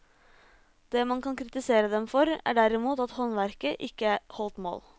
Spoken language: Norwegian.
Det man kan kritisere dem for, er derimot at håndverket ikke holdt mål.